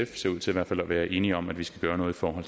ser ud til at være enige om at vi skal gøre noget for at